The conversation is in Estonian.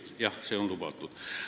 Jah, see on lubatud.